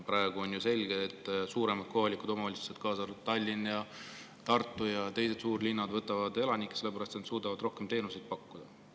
Praegu on ju selge, et suuremad kohalikud omavalitsused, Tallinn, Tartu ja teised suurlinnad, võtavad elanikke ära sellepärast, et nad suudavad rohkem teenuseid pakkuda.